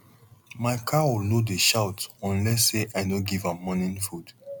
my cow no dey shout unless say i no give am morning food